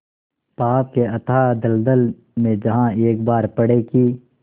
पाप के अथाह दलदल में जहाँ एक बार पड़े कि